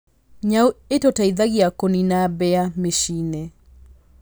Nyau ĩtũteithagia kũnina mbĩa mĩciĩ-inĩ.